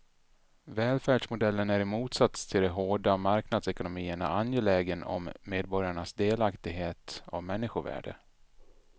Välfärdsmodellen är i motsats till de hårda marknadsekonomierna angelägen om medborgarnas delaktighet och människovärde.